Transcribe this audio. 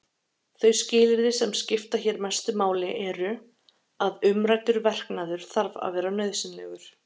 Þau skilyrði sem skipta hér mestu máli eru: að umræddur verknaður þarf að vera nauðsynlegur.